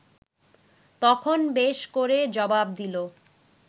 তখন বেশ করে জবাব দিল